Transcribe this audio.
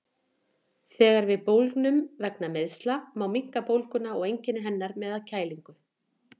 Þegar við bólgnum vegna meiðsla má minnka bólguna og einkenni hennar með að kælingu.